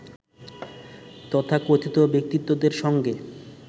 তথাকথিত ব্যক্তিত্বদের সঙ্গে